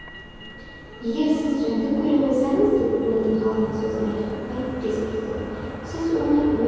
егер сіз жәндік көре қойсаңыз деп уэлдон ғалымның сөзін аяқтатпай кесіп тастады сіз оны өз